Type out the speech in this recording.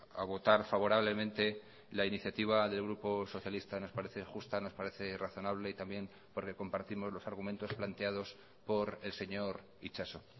a votar favorablemente la iniciativa del grupo socialista nos parece justa nos parece razonable y también porque compartimos los argumentos planteados por el señor itxaso